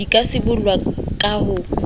di ka sibollwa ka ho